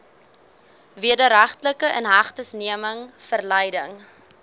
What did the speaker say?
wederregtelike inhegtenisneming verleiding